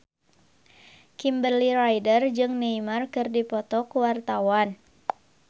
Kimberly Ryder jeung Neymar keur dipoto ku wartawan